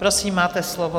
Prosím, máte slovo.